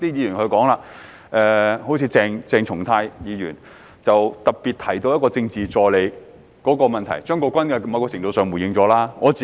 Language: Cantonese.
另外，有些議員特別提到有關政治助理的問題，而張國鈞議員在某程度上已作出回應。